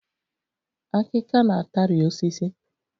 Akika na-atari osisi